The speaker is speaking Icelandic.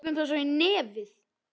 Tökum þá svo í nefið!